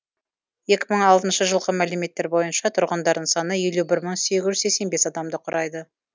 екі мың алтыншы жылғы мәліметтер бойынша тұрғындарының саны елу бір мың сегіз жүз сексен бес адамды құрайды